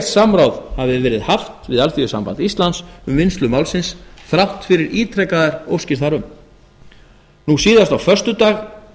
samráð hafi verið haft við alþýðusamband íslands um vinnslu málsins þrátt fyrir ítrekaðar óskir þar um síðastliðinn föstudag